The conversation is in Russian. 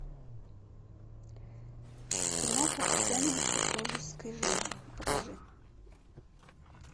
киноха сцены из супружеской жизни покажи